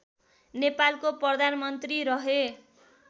नेपालको प्रधानमन्त्री रहे